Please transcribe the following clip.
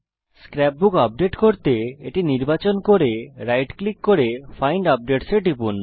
scrap বুক update করতে এটি নির্বাচন করুন রাইট ক্লিক করুন এবং ফাইন্ড আপডেটস এ টিপুন